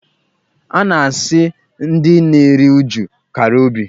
A na-asị ndị na-eri uju "kara obi".